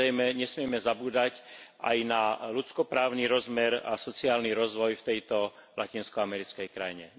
Samozrejme, nesmieme zabúdať aj na ľudskoprávny rozmer a sociálny rozvoj v tejto latinskoamerickej krajine.